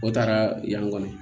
O taara yan kɔni